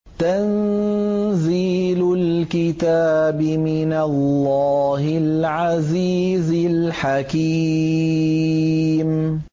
تَنزِيلُ الْكِتَابِ مِنَ اللَّهِ الْعَزِيزِ الْحَكِيمِ